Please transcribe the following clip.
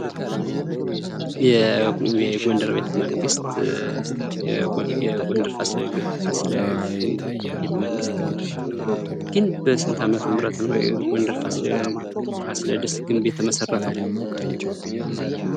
የጎንደር ቤተመንግሥት የጎንደር ፋሲለ ግንብ ቤተመንግሥት ግን በስንት አመተ ምህረት ነው የጎንደር ፋሲለደስ ግንብ ቤተመንግሥት የተመሰረተው?